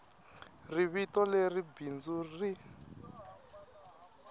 ri vito leri bindzu ri